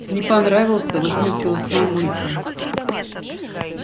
не понравился возмутилась мамулька